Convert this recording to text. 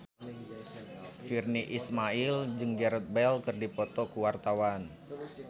Virnie Ismail jeung Gareth Bale keur dipoto ku wartawan